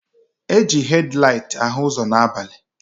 Eji hed laịt ahụ ụzọ n'abalị.